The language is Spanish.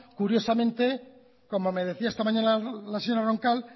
curiosamente como me decía esta mañana la señora roncal